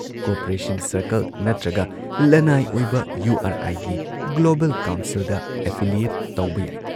Cooperation circle ꯅꯠꯇ꯭ꯔꯒ ꯂꯟꯅꯥꯏ ꯑꯣꯏꯕ ꯌꯨ ꯑꯥꯔ ꯑꯥꯏꯒꯤ ꯒ꯭ꯂꯣꯕꯜ ꯀꯥꯎꯟꯁꯤꯜꯗ ꯑꯦꯐꯤꯂꯤꯌꯦꯠ ꯇꯧꯕ ꯌꯥꯏ ꯫